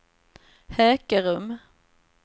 Hökerum